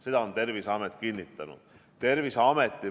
Seda on Terviseamet kinnitanud.